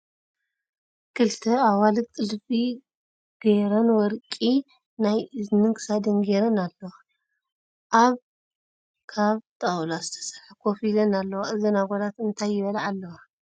ክልተ ኣዋልድ ጥልፊ ገይተረ ወርቂ ናይ እዝኒን ክሳድን ጌረን ኣለዋ ። ኣብ ካብ ጣውላ ዝተሰርሐ ኮፍ ኢለን ኣለዋ። እዘን ኣጋላት እንታይ ይበልዓ ኣለዋ ?